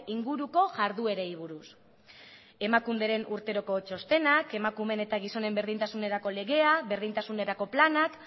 inguruko jarduerei buruz emakunderen urteroko txostena emakumeen eta gizonen berdintasunerako legea berdintasunerako planak